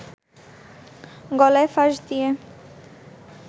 গলায় ফাঁস দিয়ে